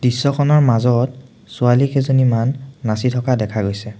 দৃশ্যখনৰ মাজত ছোৱালী কেইজনীমান নাচি থকা দেখা গৈছে।